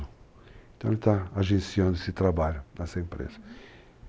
Então, ele está agenciando esse trabalho nessa empresa. Uhum.